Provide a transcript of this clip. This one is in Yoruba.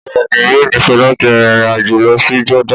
Bẹ́ẹ̀ ni, yóò nífẹ̀ẹ́ láti rin ìrìn àjò lọ sí Jordan